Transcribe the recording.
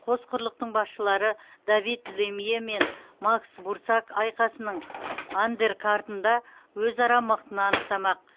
қос құрлықтың басшылары давид лемье мен макс бурсак айқасының андеркартында өзара мықтыны анықтамақ